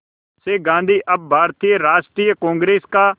से गांधी अब भारतीय राष्ट्रीय कांग्रेस का